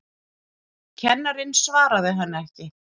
Kennarinn svaraði henni ekki.